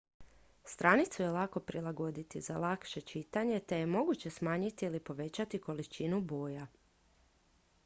stranicu je lako prilagoditi za lakše čitanje te je moguće smanjiti ili povećati količinu boja